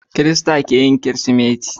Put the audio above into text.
Kirista keyin kirismeti